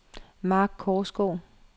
Mark Korsgaard